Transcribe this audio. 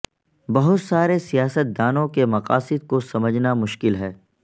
بہت سارے سیاست دانوں کے مقاصد کو سمجھنا مشکل ہے